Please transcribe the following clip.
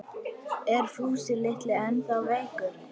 Er Fúsi litli ennþá veikur?